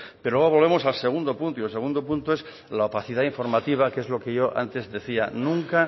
pero luego volvemos al segundo punto y el segundo punto es la opacidad informativa que es lo que yo antes decía nunca